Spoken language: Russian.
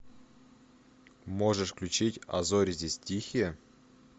можешь включить а зори здесь тихие